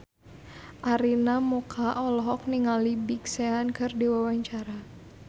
Arina Mocca olohok ningali Big Sean keur diwawancara